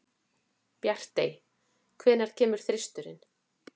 Bjartey, hvenær kemur þristurinn?